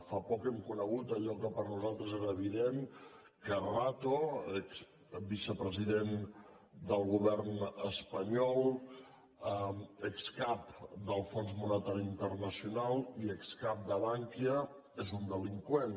fa poc hem conegut allò que per nosaltres era evident que rato exvicepresident del govern espanyol excap delfons monetari internacional i excap de bankia és un delinqüent